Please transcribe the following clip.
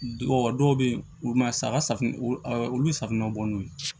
dɔw bɛ yen olu ma sa safunɛ olu bɛ safunɛ bɔ n'o ye